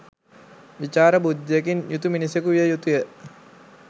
විචාර බුද්ධියකින් යුතු මිනිසෙකු විය යුතුය.